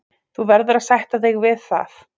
Þú verður að sætta þig við það.